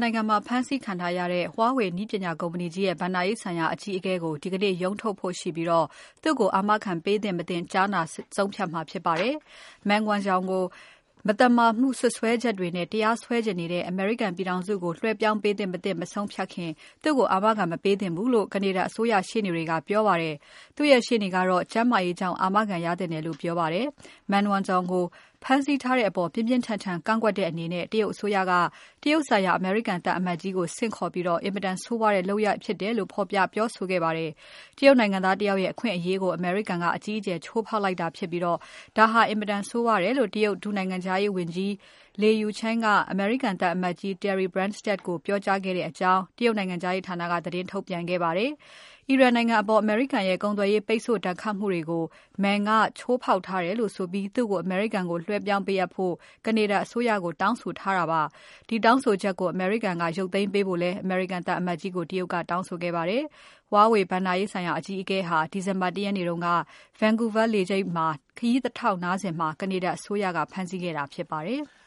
နိုင်ငံမှာ ဖမ်းဆီးခံထားရတဲ့ Huawei နည်းပညာကုမ္ပဏီကြီးရဲ့ ဘဏ္ဍာရေးဆိုင်ရာအကြီးအကဲကို ဒီကနေ့ ရုံးထုတ်ဖို့ရှိပြီး သူ့ကိုအာမခံပေး မပေးကြားနာဆုံးဖြတ်မှာဖြစ်ပါတယ်။ Meng Wanzhou ကို မသာမာမှုစွဲချက်တွေနဲ့ တရားစွဲချင်နေတဲ့ အမေရိကန်ပြည်ထောင်စုကို လွဲှပြောင်းပေးသင့် မသင့် မဆုံးဖြတ်ခင် သူ့ကို အာမခံမပေးသင့်ဘူးလို့ Canada အစိုးရရှေ့နေတွေက ပြောပါတယ်။ သူ့ရဲ့ရှေ့နေကတော့ ကျန်းမာရေးကြောင့် အာမခံရသင့်တယ်လို့ပြောပါတယ်။ Meng Wanzhou ကိုဖမ်းဆီးထားတဲ့အပေါ် ပြင်းပြင်းထန်ထန် ကန့်ကွက်တဲ့အနေနဲ့ တရုတ်အစိုးရက တရုတ်ဆိုင်ရာ အမေရိကန်သံအမတ်ကြီးကို ဆင့်ခေါ်ခဲ့ပြီး အင်မတန်ဆိုးဝါးတဲ့လုပ်ရပ်ဖြစ်တယ်လို့ ဖော်ပြပြောဆိုခဲ့ပါတယ်။ တရုတ်နိုင်ငံသားတယောက်ရဲ့ အခွင့်အရေးကို အမေရိကန်က ဆိုးဆိုးဝါးဝါး ချိုးဖောက်လိုက်တာဖြစ်ပြီး ဒီလုပ်ရပ်ဟာ အင်မတန်ဆိုးဝါးတယ်လို့ တရုတ်ဒုနိုင်ငံခြားရေးဝန်ကြီး Le Yucheng က အမေရိကန်သံအမတ်ကြီး Terry Branstad ကိုပြောကြားခဲ့ကြောင်း တရုတ်နိုင်ငံခြားရေးဌာနက သတင်းထုတ်ပြန်ခဲ့ပါတယ်။ အီရန်နိုင်ငံအပေါ် အမေရိကန်ရဲ့ ကုန်သွယ်ရေး ပိတ်ဆို့ဒဏ်ခတ်မှုတွေကို Meng Wanzhou ကချိုးဖောက်ထားတယ်လို့ဆိုပြီး သူ့ကိုအမေရိကန်ကိုလွှဲပြောင်းပေးအပ်ဖို့ Canada အစိုးရကို တောင်းဆိုထားတာပါ။ ဒီတောင်းဆိုချက်ကို အမေရိကန်က ရုတ်သိမ်းပေးဖို့လည်း အမေရိကန်သံအမတ်ကြီးကို တရုတ်ကတောင်းဆိုခဲ့ပါတယ်။ Meng Wanzhou ဟာ ဒီဇင်ဘာ ၁ ရက်နေ့က Vancouver လေဆိပ်မှာ ခရီးတထောက်နားစဉ် Canada အစိုးရက ဖမ်းဆီးခဲ့တာဖြစ်ပါတယ်။